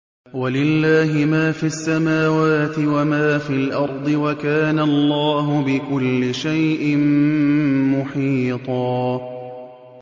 وَلِلَّهِ مَا فِي السَّمَاوَاتِ وَمَا فِي الْأَرْضِ ۚ وَكَانَ اللَّهُ بِكُلِّ شَيْءٍ مُّحِيطًا